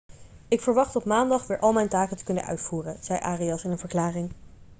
ik verwacht op maandag weer al mijn taken te kunnen uitvoeren' zei arias in een verklaring